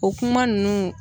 O kuma ninnu